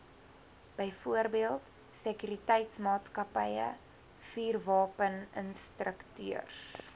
byvoorbeeld sekuriteitsmaatskappye vuurwapeninstrukteurs